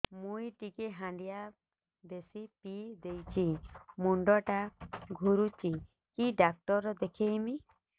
ମୁଇ ଟିକେ ହାଣ୍ଡିଆ ବେଶି ପିଇ ଦେଇଛି ମୁଣ୍ଡ ଟା ଘୁରୁଚି କି ଡାକ୍ତର ଦେଖେଇମି